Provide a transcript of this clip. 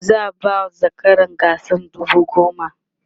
za'a ba zakaran gasar dubu goma